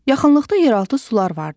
Yaxınlıqda yeraltı sular vardı.